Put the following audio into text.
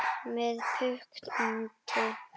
Með punkti.